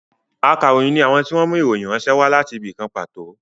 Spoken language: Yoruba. Ákàròyìn ni àwọn tí wọn mú ìròyìn ránṣẹ́ wá láti ibì kan pàtó